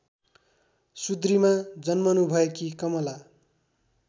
सुद्रीमा जन्मनुभएकी कमला